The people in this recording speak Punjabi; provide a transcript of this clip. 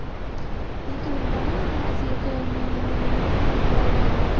ਨਹੀਂ ਤੁਰਨਾ ਨਾ ਅਸੀਂ ਇੱਕ ਮੈਂ ਮੇਰੀ ਮੇਰੀ ਭੈਣ ਦੀ ਦਵਾਈ ਲੈਣ ਗਏ ਸੀ